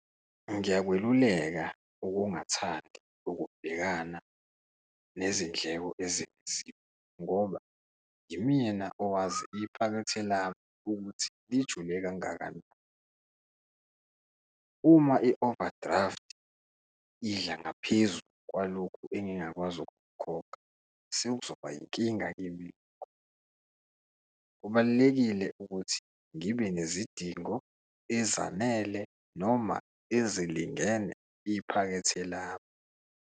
Ngiyakweluleka ukungathandi ukubhekana nezindleko ezengeziwe ngoba yimina owazi iphakethe lami ukuthi lijule kangakanani. Uma i-overdraft idla ngaphezu kwalokhu engingakwazi ukukhokha, sekuzoba inkinga kimi, kubalulekile ukuthi ngibe nezidingo ezanele noma ezilingene iphakethe lami.